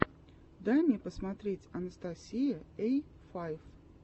дай мне посмотреть анастасия эй файв